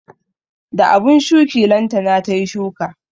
Da abun shuki lantana tayi shuka